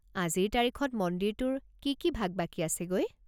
আজিৰ তাৰিখত মন্দিৰটোৰ কি কি ভাগ বাকী আছেগৈ?